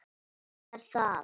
Hann er það.